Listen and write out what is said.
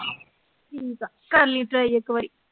ਠੀਕ ਆ ਕਰਲੀਂ try ਇਕ ਵਾਰੀ